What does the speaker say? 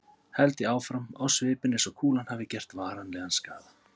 held ég áfram, á svipinn eins og kúlan hafi gert varanlegan skaða.